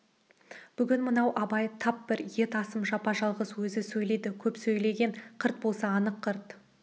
бүгін мынау абай тап бір ет асым жапа-жалғыз өзі сөйледі көп сөйлеген қырт болса анық қырт